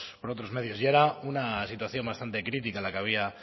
por otros medios y era una situación bastante crítica la que había